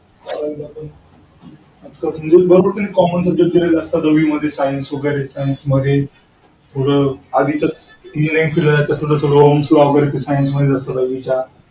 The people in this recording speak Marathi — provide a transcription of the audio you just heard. common subject दिलेले असता दोघींमध्ये science